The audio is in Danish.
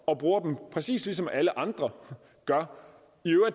og bruger dem præcis ligesom alle andre gør